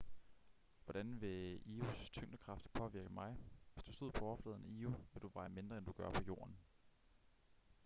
hvordan ville io's tyngdekraft påvirke mig hvis du stod på overfladen af io ville du veje mindre end du gør på jorden